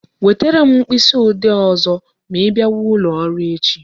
Wetere m mkpịsị ode ọzọ ma I bịawa ụlọ ọrụ echi